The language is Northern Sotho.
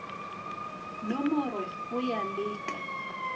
nomorwe go ya le ka